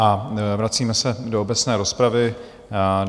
A vracíme se do obecné rozpravy.